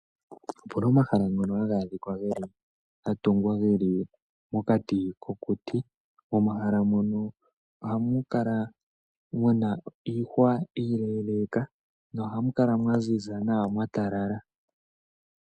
Opu na omahala ngono haga kala ga tungwa geli pokati mokuti, momahala mono ohamu kala muna iihwa iileeleeka, nohamu kala mwa ziza nawa, mwa talala.